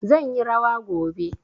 Zan yi rawa gobe.